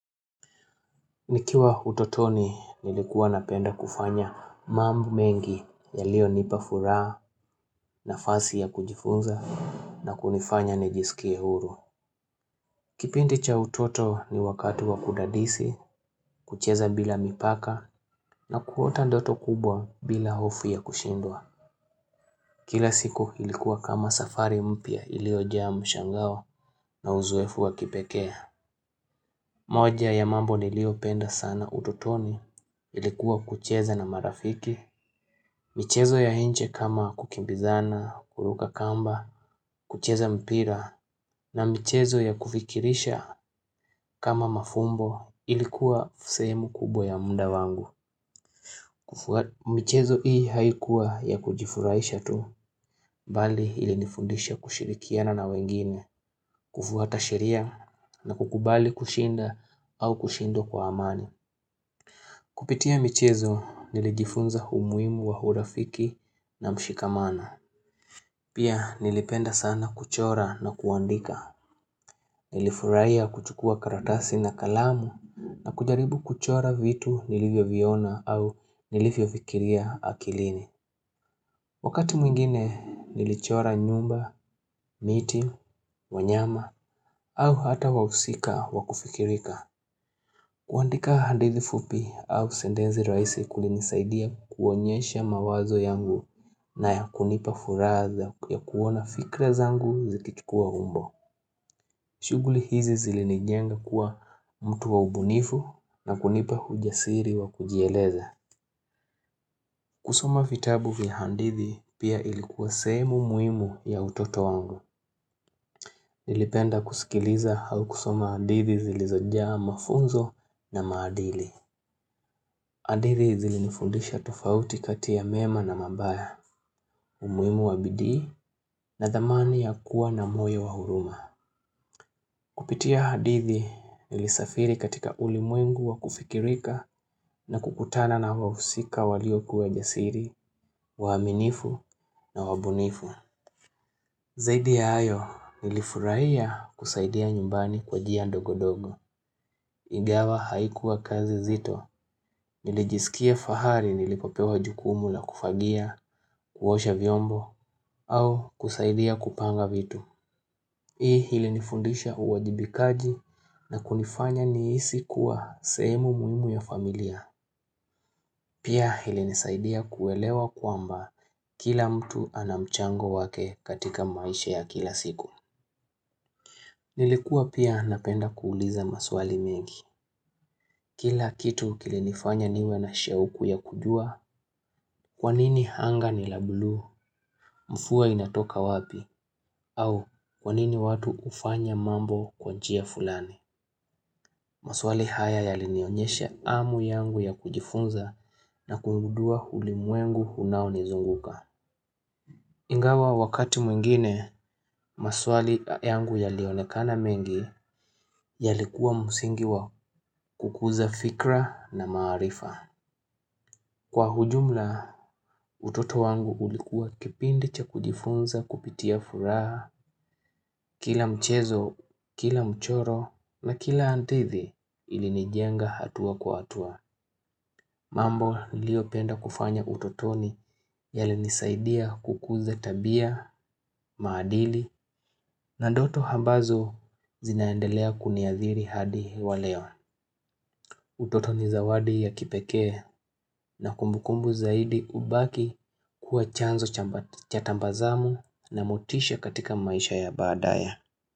Nikiwa utotoni nilikuwa napenda kufanya mambo mengi ya liyo nipa furaha na fasi ya kujifunza na kunifanya nijisikie huru. Kipindi cha utoto ni wakati wa kudadisi, kucheza bila mipaka na kuota ndoto kubwa bila hofu ya kushindwa. Kila siku ilikuwa kama safari mpya ilio jaa mshangao na uzoefu wa kipekee. Moja ya mambo ni lio penda sana utotoni ilikuwa kucheza na marafiki, michezo ya nje kama kukimbizana, kuruka kamba, kucheza mpira, na michezo ya kufikirisha kama mafumbo ilikuwa fusehemu kubwa ya muda wangu. Michezo hii haikuwa ya kujifuraisha tu, bali ili nifundisha kushirikiana na wengine, kufuata sheria na kukubali kushinda au kushindwa kwa amani. Kupitia michezo nilijifunza humuimu wa hurafiki na mshikamano. Pia nilipenda sana kuchora na kuandika. Nilifurahia kuchukua karatasi na kalamu na kujaribu kuchora vitu nilivyoviona au nilivyovikiria akilini. Wakati mwingine nilichora nyumba, miti, wanyama au hata wahusika wakufikirika. Kuandika handithi fupi au sendenzi raisi kulinisaidia kuonyesha mawazo yangu na ya kunipa furaha ya kuona fikra zangu zikichukua umbo. Shuguli hizi zilinijenga kuwa mtu waubunifu na kunipa hujasiri wa kujieleza. Kusoma vitabu vya handithi pia ilikuwa sehemu muimu ya utoto wangu. Nilipenda kusikiliza hau kusoma adithi zilizojaa mafunzo na maadili. Adithi zilinifundisha tofauti kati ya mema na mabaya, umuimu wa bidii na dhamani ya kuwa na moyo wa huruma. Kupitia adithi nilisafiri katika ulimwengu wa kufikirika na kukutana na wahusika walioku wa jasiri, waaminifu na wabunifu. Zaidi ya ayo, nilifurahia kusaidia nyumbani kwa jia ndogo-dogo, igawa haikuwa kazi zito, nilijisikia fahari nilipopewa jukumu na kufagia, kuhosha vyombo, au kusaidia kupanga vitu. Hii hili nifundisha uwajibikaji na kunifanya niisi kuwa sehemu muimu ya familia. Pia hili nisaidia kuelewa kwamba kila mtu anamchango wake katika maisha ya kila siku. Nilikuwa pia napenda kuuliza maswali mengi. Kila kitu kilinifanya niwe na sheuku ya kujua kwanini hanga ni la blue mvua inatoka wapi au kwanini watu ufanya mambo kwanjia fulani. Maswali haya ya linionyesha amu yangu ya kujifunza na kuingudua huli muengu unao nizunguka. Ingawa wakati mwingine, maswali yangu ya lionekana mengi ya likuwa musingi wa kukuza fikra na maarifa. Kwa hujumla, utoto wangu ulikuwa kipindi cha kujifunza kupitia furaha, kila mchezo, kila mchoro na kila antithi ilinijenga hatua kwa hatua. Mambo nilio penda kufanya utotoni yali nisaidia kukuza tabia, maadili, na ndoto ambazo zinaendelea kuniadhiri hadi wa leo. Utotoni zawadi ya kipekee na kumbukumbu zaidi ubaki kuwa chanzo cha tambazamu na motisha katika maisha ya baadaye.